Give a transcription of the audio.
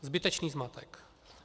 Zbytečný zmatek.